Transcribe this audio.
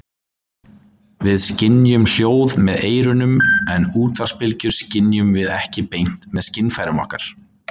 Við skynjum hljóð með eyrunum en útvarpsbylgjur skynjum við ekki beint með skynfærum okkar.